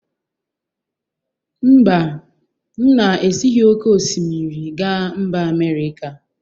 Mba, nna esighi oke osimiri gaa mba Amerika.